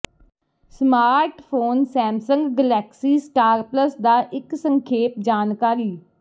smartphone Samsung Galaxy Star Plus ਦਾ ਇੱਕ ਸੰਖੇਪ ਜਾਣਕਾਰੀ